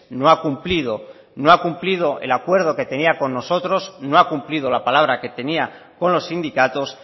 no ha cumplido no ha cumplido el acuerdo que tenía con nosotros no ha cumplido la palabra que tenía con los sindicatos